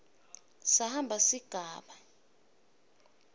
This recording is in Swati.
samba sigaba d